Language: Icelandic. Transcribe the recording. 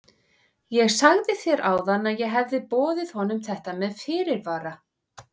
Ég sagði þér áðan að ég hefði boðið honum þetta með fyrirvara.